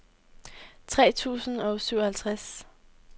tre tusind og syvoghalvtreds